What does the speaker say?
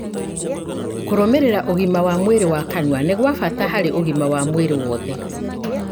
Kũrũmĩrĩra ũgima wa mwĩrĩ wa kanua nĩ gwa bata harĩ ũgima wa mwĩrĩ wothe